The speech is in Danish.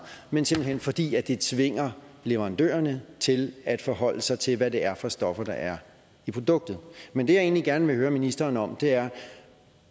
men simpelt hen fordi det tvinger leverandørerne til at forholde sig til hvad det er for stoffer der er i produktet men det jeg egentlig gerne vil høre ministeren om er